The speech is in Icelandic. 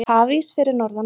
Hafís fyrir norðan land